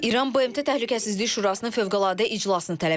İran BMT Təhlükəsizlik Şurasının fövqəladə iclasını tələb edib.